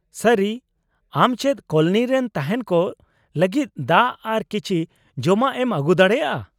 -ᱥᱟᱹᱨᱤ, ᱟᱢ ᱪᱮᱫ ᱠᱳᱞᱚᱱᱤ ᱨᱮᱱ ᱛᱟᱦᱮᱸᱱ ᱠᱚ ᱞᱟᱹᱜᱤᱫ ᱫᱟᱜ ᱟᱨ ᱠᱤᱪᱷᱤ ᱡᱚᱢᱟᱜ ᱮᱢ ᱟᱹᱜᱩ ᱫᱟᱲᱮᱭᱟᱜᱼᱟ ?